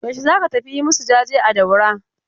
Yaushe za ka tafi yi masu jaje a Daura?